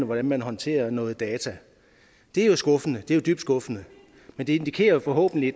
hvordan man håndterer noget data det er jo skuffende dybt skuffende men det indikerer jo forhåbentlig